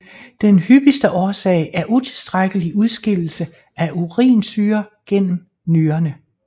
Den hyppigste årsag er utilstrækkelig udskillelse af urinsyre gennem nyrerne